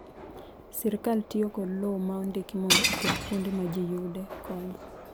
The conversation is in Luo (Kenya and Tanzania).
Sirkal tiyo kod lowo ma ondiki mondo oket kuonde ma ji yude kony.